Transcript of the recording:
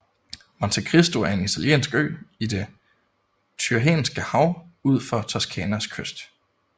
Montecristo er en italiensk ø i det Tyrrhenske hav ud for Toscanas kyst